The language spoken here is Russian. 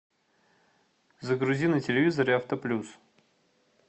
загрузи на телевизоре авто плюс